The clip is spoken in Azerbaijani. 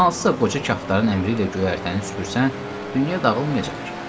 Hansısa qoca kaftarın əmri ilə göyərtəni süpürsən, dünya dağılmayacaq ki.